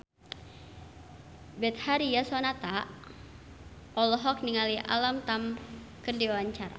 Betharia Sonata olohok ningali Alam Tam keur diwawancara